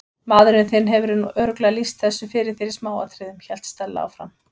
Maðurinn þinn hefur nú örugglega lýst þessu fyrir þér í smáatriðum- hélt Stella áfram.